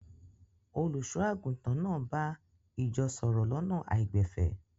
Olùṣọ́-àgùntàn náà bá ìjọ sọ̀rọ̀ lọ́nà àìgbẹ̀fẹ̀.